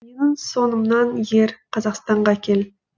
менің соңымнан ер қазақстанға кел